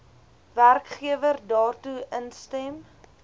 werkgewer daartoe instem